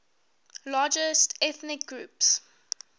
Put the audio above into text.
largest ethnic groups